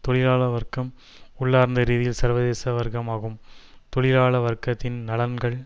தொழிலாள வர்க்கம் உள்ளார்ந்த ரீதியில் சர்வதேச வர்க்கம் ஆகும் தொழிலாள வர்க்கத்தின் நலன்கள்